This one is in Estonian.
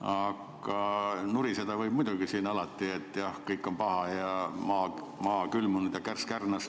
Aga nuriseda võib muidugi alati, et jah, kõik on paha ja maa külmunud ja kärss kärnas.